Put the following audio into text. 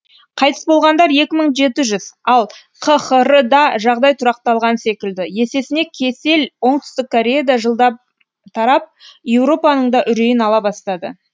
қайтыс болғандар екі мың жеті жүз ал қхр да жағдай тұрақталған секілді есесіне кесел оңтүстік кореяда жылдап тарап еуропаның да үрейін ала бастады